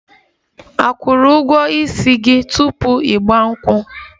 A kwụrụ ụgwọ ísì gị tupu 'Igba nkwu?